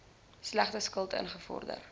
slegte skuld ingevorder